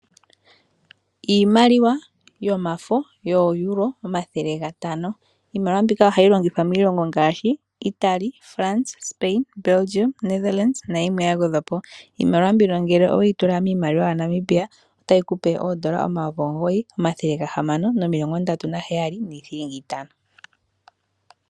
Iimaliwa yomafo yo EUR, omilongo ntano. Iimaliwa mbika ohayi longithwa miilongo ngashi Itali, France, Spain, Belgium, Netherland na yilwe ya gwedhwapo. Iimaliwa mbika ngele oweyi tula miimaliwa ya Namibia, otayi kupe oondola N$ 9,637.50.